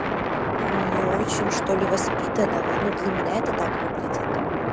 не очень что-ли воспитанного ну для меня это так выглядит